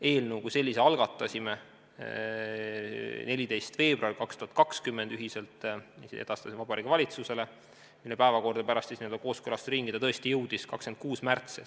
Eelnõu kui sellise algatasime 14. veebruaril 2020, ühiselt edastasime Vabariigi Valitsusele, mille päevakorda ta pärast kooskõlastusringi tõesti jõudis 26. märtsil.